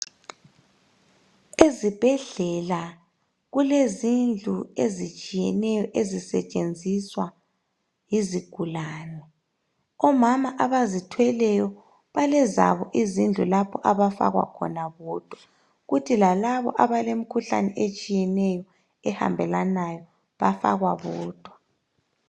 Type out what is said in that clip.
Ezibhedlela kulezindlu ezitshiyeneyo ezisetshenziswa yizigulani omama abazithweleyo kulendlu yabo abafaka khona bodwa kuthi lalaba abelemkhuhlane etshiyeneyo ehambelanayo bafakwa bodwa